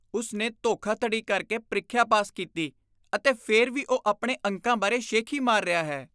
ਉਸ ਨੇ ਧੋਖਾਧੜੀ ਕਰਕੇ ਪ੍ਰੀਖਿਆ ਪਾਸ ਕੀਤੀ ਅਤੇ ਫਿਰ ਵੀ ਉਹ ਆਪਣੇ ਅੰਕਾਂ ਬਾਰੇ ਸ਼ੇਖੀ ਮਾਰ ਰਿਹਾ ਹੈ।